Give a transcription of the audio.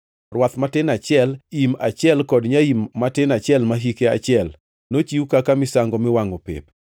rwath matin achiel, im achiel kod nyaim matin achiel ma hike achiel, nochiw kaka misango miwangʼo pep;